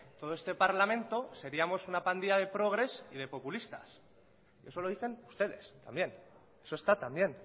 todo este parlamento seríamos una pandilla de progres y de populistas y eso lo dicen ustedes también eso está también